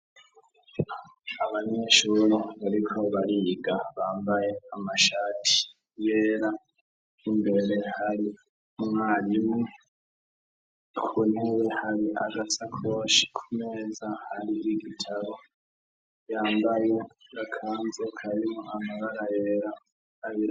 Abanyeshure bariko bariga bambaye amashati yera imbere hari umwarimu kuriwe hari agasakoshi kumeza hari n'igitabo yambaye agakanzu karimwo amabara yera.